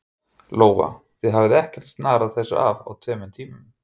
Lóa: Þið hafið ekkert snarað þessu af á tveim tímum?